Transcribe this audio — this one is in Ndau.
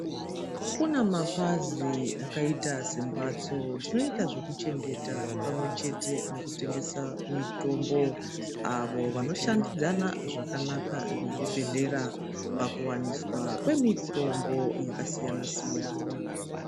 Kune mapazi akaita sembatso dzinoita zvekuchengeta pamwe chete nekutengesa mitombo vanoshandidzana zvakanaka nezvibhedhlera pakuwaniswa kwemitombo yakasiyana siyana.